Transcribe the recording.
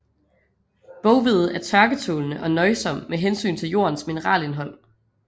Boghvede er tørketålende og nøjsom med hensyn til jordens mineralindhold